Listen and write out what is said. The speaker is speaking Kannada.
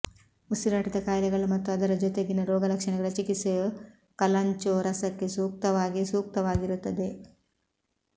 ಉಸಿರಾಟದ ಕಾಯಿಲೆಗಳು ಮತ್ತು ಅದರ ಜೊತೆಗಿನ ರೋಗಲಕ್ಷಣಗಳ ಚಿಕಿತ್ಸೆಯು ಕಲಾಂಚೊ ರಸಕ್ಕೆ ಸೂಕ್ತವಾಗಿ ಸೂಕ್ತವಾಗಿರುತ್ತದೆ